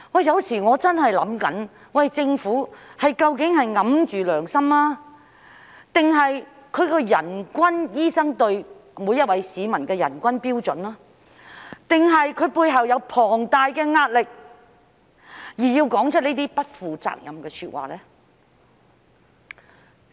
有時候我真的會想，政府究竟是掩着良心，還是醫生對市民的人均標準，還是它背後有龐大的壓力，而要說出這些不負責任的說話呢？